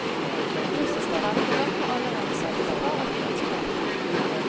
Russiske velgere har allerede sagt fra at de ønsker dette.